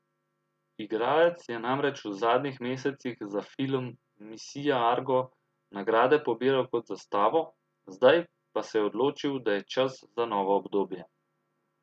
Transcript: Igralec je namreč v zadnjih mesecih za film Misija Argo nagrade pobiral kot za stavo, zdaj pa se je odločil, da je čas za novo obdobje.